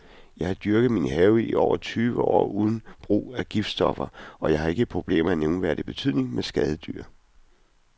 Jeg har dyrket min have i over tyve år uden brug af giftstoffer, og jeg har ikke problemer af nævneværdig betydning med skadedyr.